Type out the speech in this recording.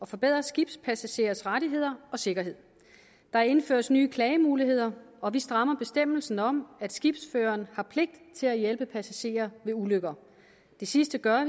forbedre skibspassagerers rettigheder og sikkerhed der indføres nye klagemuligheder og vi strammer bestemmelsen om at skibsføreren har pligt til at hjælpe passagerer ved ulykker det sidste gør